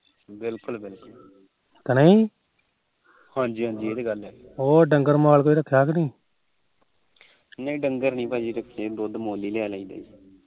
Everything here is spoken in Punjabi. ਨਹੀ ਡੱਗਰ ਨੀ ਰੱਖੇ ਦੁਧ ਮੁਲ ਹੀ ਲਿਆਦੇ ਆ